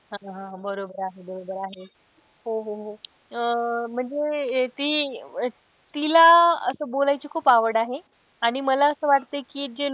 हा हा बरोबर आहे बरोबर आहे हो हो हो. अह म्हणजे ती तिला असं बोलायची खूप आवड आहे आणि मला असं वाटत कि जे,